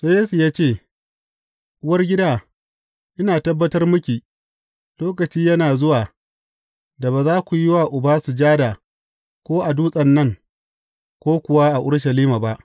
Sai Yesu ya ce, Uwargida, ina tabbatar miki, lokaci yana zuwa da ba za ku yi wa Uba sujada ko a dutsen nan, ko kuwa a Urushalima ba.